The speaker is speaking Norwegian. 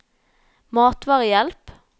matvarehjelp